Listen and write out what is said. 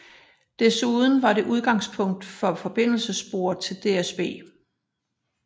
Desuden var det udgangspunkt for forbindelsessporet til DSB